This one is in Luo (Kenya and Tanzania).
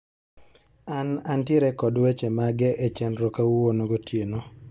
An antiere kod weche mage echenro kawuono gotieno